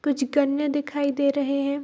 कुछ कन्या दिखाई दे रहे हैं।